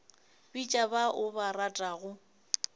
bitša ba o ba ratago